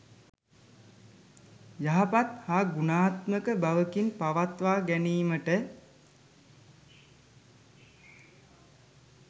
යහපත් හා ගුණාත්මක බවකින් පවත්වා ගැනීමට